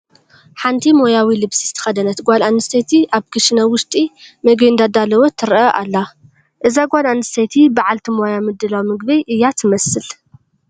ሓንቲ ሞያዊ ልብሲ ዝተኸደነት ጓል ኣነስተይቲ ኣብ ክሽነ ውሽጢ ምግቢ እንዳዳለወት ትርአ ኣላ፡፡ እዛ ጓል ኣንስተይቲ በዓልቲ ሞያ ምድላው ምግቢ እያ ትመስል፡፡